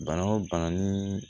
Bana o bana ni